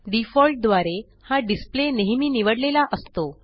default द्वारे हा display नेहेमी निवडलेला असतो